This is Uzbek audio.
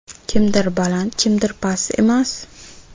Kimdir baland, kimdir past emas.